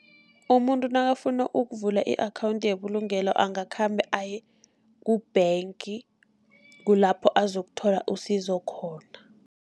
Umuntu nakafuna ukuvula i-akhawunthi yebulugelo angakhamba aye ku-bank, kulapho azakuthola isizo khona.